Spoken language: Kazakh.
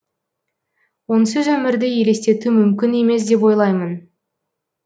онсыз өмірді елестету мүмкін емес деп ойлаймын